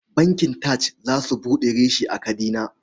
Bankin TAJ za su buɗe reshe a Kadina.